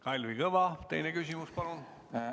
Kalvi Kõva, teine küsimus, palun!